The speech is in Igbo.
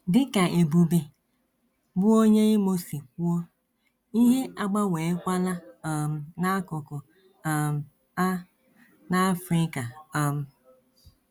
Dị ka Ebube, bụ́ onye Imo si kwuo, ihe agbanweekwala um n’akụkụ um a n’Africa um.